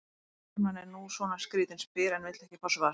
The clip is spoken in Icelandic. Mannskepnan er nú svona skrýtin, spyr en vill ekki fá svar.